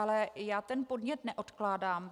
Ale já ten podnět neodkládám.